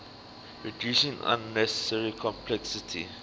reducing unnecessary complexity